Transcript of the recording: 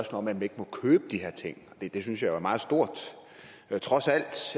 om at man ikke må købe de her ting det synes jeg jo trods alt